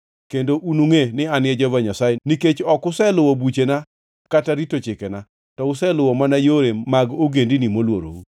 Kendo unungʼe ni An e Jehova Nyasaye, nikech ok useluwo buchena kata rito chikena, to useluwo mana yore mag ogendini molworou.